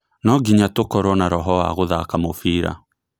No nginya tũkorwo na roho wa gũthaka mũbira